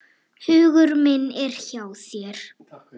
Hugur minn er hjá þér.